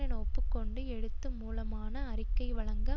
என ஒப்பு கொண்டு எழுத்து மூலமான அறிக்கை வழங்க